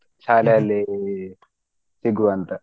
ಶಾಲೆಯಲ್ಲಿ ಸಿಗುವ ಅಂತ.